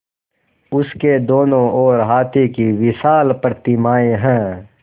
उसके दोनों ओर हाथी की विशाल प्रतिमाएँ हैं